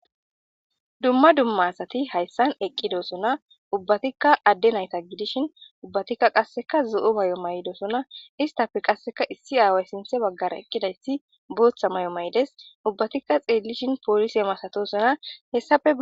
Dumma dumma asatti hayssan eqqidossona.ubbattika adde naytta gidishin ubbatikka qasekka zo'o may'idosonna. Isttappe qasekka issi aaway sinththe baggara eqqidayssi booththa may'o may'ides. Ubbatikka xeelishin polisse masatissonna.hessappe